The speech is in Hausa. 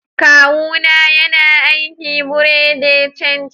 kawu na yana aiki a buerea de change.